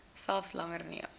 selfs langer neem